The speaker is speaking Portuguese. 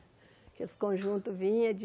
Porque os conjuntos vinham de...